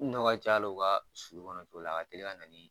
Ni minɛnw ka ca alo ka sulu kɔnɔ a ka teli ka na ni.